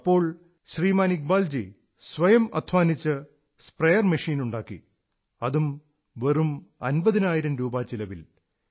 അപ്പോൾ ശ്രീമാൻ ഇക്ബാൽജി സ്വയം അധ്വാനിച്ച് സ്വയം സ്പ്രേയർ മെഷീൻ ഉണ്ടാക്കി അതും വെറും അമ്പതിനായിരം രൂപാ ചിലവിൽ